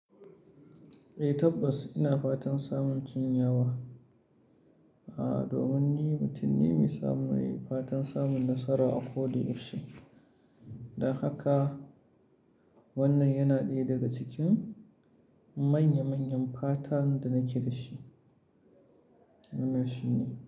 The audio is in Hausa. Eh tabbas ina fatan samun tunyawa, a domin ni mutum ne mai fatan samun nasara a ko da yaushe. Don haka wannan yana ɗaya daga cikin manya manyan fatan da nake da shi. Wannan shine.